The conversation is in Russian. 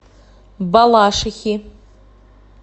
балашихи